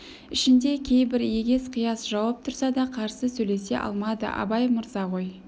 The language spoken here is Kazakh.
ішінде кейбір егес-қияс жауап тұрса да қарсы сөйлесе алмады абай мырза ғой